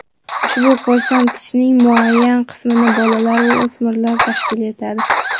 Ushbu ko‘rsatkichning muayyan qismini bolalar va o‘smirlar tashkil etadi.